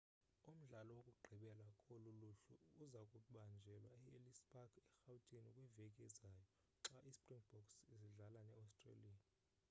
umdlalo wokugqibela kolu luhlu uzakubanjelwa e-ellis park erhawutini kwiveki ezayo xa ispringboks sidlala ne-australia